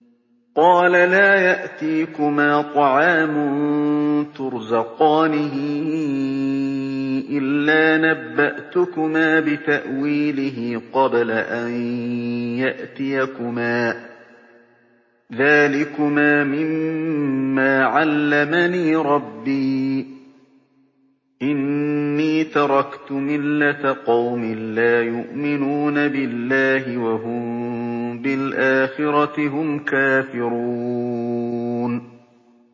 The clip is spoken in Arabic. قَالَ لَا يَأْتِيكُمَا طَعَامٌ تُرْزَقَانِهِ إِلَّا نَبَّأْتُكُمَا بِتَأْوِيلِهِ قَبْلَ أَن يَأْتِيَكُمَا ۚ ذَٰلِكُمَا مِمَّا عَلَّمَنِي رَبِّي ۚ إِنِّي تَرَكْتُ مِلَّةَ قَوْمٍ لَّا يُؤْمِنُونَ بِاللَّهِ وَهُم بِالْآخِرَةِ هُمْ كَافِرُونَ